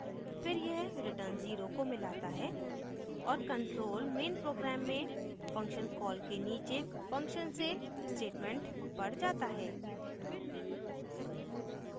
फिर यह return 0 को मिलाता है और control main program में function कॉल के नीचे function से statement पर जाता है